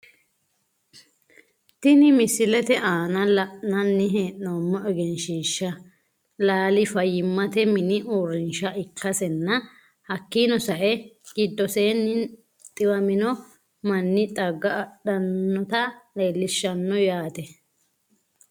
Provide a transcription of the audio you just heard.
Tini misilete aana la`nani heenomo egenshiishi laali fayimate mini uurinsha ikasena hakiino sa`e gidoseenino xiwammo mani xagga adhanota leelishano yaate.